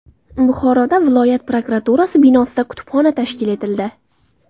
Buxoroda viloyat prokuraturasi binosida kutubxona tashkil etildi.